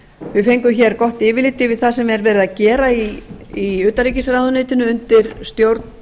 við fengum gott yfirlit yfir það sem er verið að gera utanríkisráðuneytinu undir stjórn